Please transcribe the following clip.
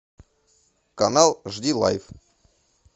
канал жди лайф